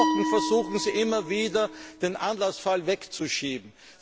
Seit Wochen versuchen Sie immer wieder, den Anlassfall wegzuschieben.